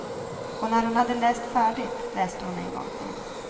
Och när hon hade läst färdigt läste hon en gång till.